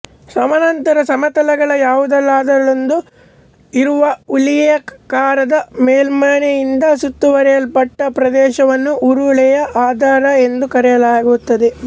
ಸಮಾನಾಂತರ ಸಮತಲಗಳ ಯಾವುದರಲ್ಲಾದರೂ ಇರುವ ಉರುಳೆಯಾಕಾರದ ಮೇಲ್ಮೈಯಿಂದ ಸುತ್ತುವರೆಯಲ್ಪಟ್ಟ ಪ್ರದೇಶವನ್ನು ಉರುಳೆಯ ಆಧಾರ ಎಂದು ಕರೆಯಲಾಗುತ್ತದೆ